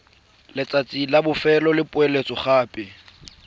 letsatsi la bofelo la poeletsogape